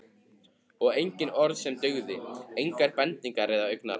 Og engin orð sem dugðu, engar bendingar eða augnaráð.